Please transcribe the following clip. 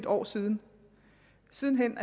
år siden siden hen